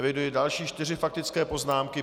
Eviduji další čtyři faktické poznámky.